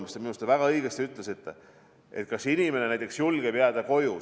Minu meelest te väga õigesti ütlesite, et kas inimene näiteks julgeb jääda koju.